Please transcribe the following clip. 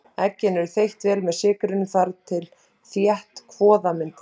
Eggin eru þeytt vel með sykrinum þar til þétt kvoða myndast.